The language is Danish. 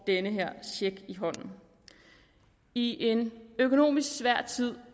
den her check i hånden i en økonomisk svær tid